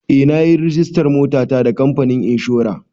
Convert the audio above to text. Eh na yi rajistan motata da kamfanin inshora.